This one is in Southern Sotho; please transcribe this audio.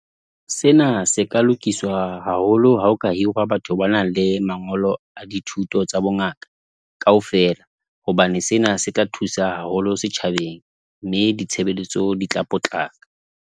Sena se ka lokiswa haholo ha o ka hirwa batho ba nang le mangolo a dithuto tsa bongaka kaofela, hobane sena se ka thusa haholo setjhabeng, mme ditshebeletso di tla potlaka.